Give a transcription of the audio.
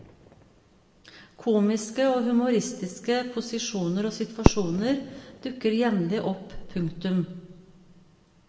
Komiske og humoristiske posisjoner og situasjoner dukker jevnlig opp. punktum